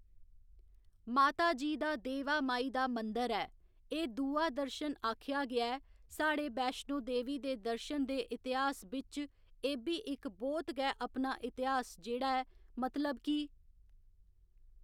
माता जी दा देवा माई दा मंदर ऐ एह् दूआ दर्शन आखेआ गेआ ऐ साढ़े बैश्नों देवी दे दर्शन दे इतेहास बिच्च एह् बी इक बहुत गै अपना इतेहास जेह्ड़ा ऐ मतलब कि